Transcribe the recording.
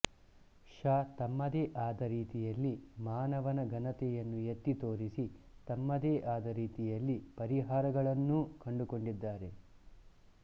ಷಾ ತಮ್ಮದೇ ಆದ ರೀತಿಯಲ್ಲಿ ಮಾನವನ ಘನತೆಯನ್ನು ಎತ್ತಿ ತೋರಿಸಿ ತಮ್ಮದೇ ಆದ ರೀತಿಯಲ್ಲಿ ಪರಿಹಾರಗಳನ್ನೂ ಕಂಡುಕೊಂಡಿದ್ದಾರೆ